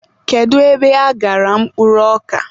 Kedu ebe aghara mkpụrụ ọka?